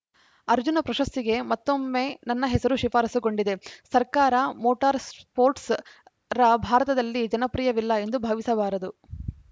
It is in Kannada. ಅರ್ಜುನ ಪ್ರಶಸ್ತಿಗೆ ಮತ್ತೊಮ್ಮೆ ನನ್ನ ಹೆಸರು ಶಿಫಾರಸುಗೊಂಡಿದೆ ಸರ್ಕಾರ ಮೋಟಾರ್‌ ಸ್ಪೋಟ್ಸ್‌ರ್‍ ಭಾರತದಲ್ಲಿ ಜನಪ್ರಿಯವಿಲ್ಲ ಎಂದು ಭಾವಿಸಬಾರದು